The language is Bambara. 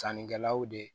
Sannikɛlaw de